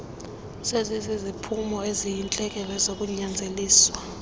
seziziziphumo eziyintlekele zokunyanzeliswa